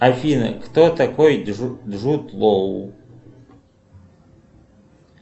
афина кто такой джуд лоу